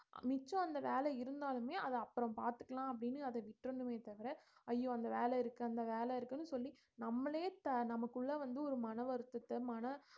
மிச்சம் அந்த வேலை இருந்தாலுமே அத அப்புறம் பாத்துக்கலாம் அப்படின்னு அத விட்டறணுமே தவிர ஐயோ அந்த வேலை இருக்கு அந்த வேலை இருக்குன்னு சொல்லி நம்மளே த~ நமக்குள்ள வந்து ஒரு மனவருத்தத்தை மன